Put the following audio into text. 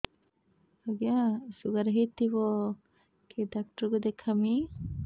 ଆଜ୍ଞା ଶୁଗାର ହେଇଥିବ କେ ଡାକ୍ତର କୁ ଦେଖାମି